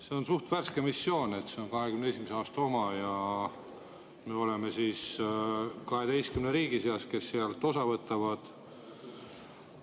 See on suht värske missioon, see on 2021. aastast ja me oleme 12 riigi seas, kes sealt osa võtavad.